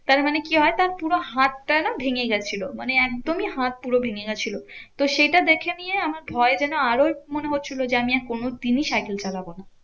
তার মানে কি হয়? তার পুরো হাতটা না ভেঙে গেছিলো। মানে একদমই হাত পুরো ভেঙে গেছিল। তো সেটা দেখে নিয়ে আমার ভয় যেন আরোই মনে হচ্ছিলো যে, আমি আর কোনোদিনই সাইকেল চালাবো না।